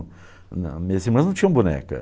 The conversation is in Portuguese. Minhas irmãs não tinham boneca.